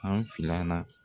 An filanan.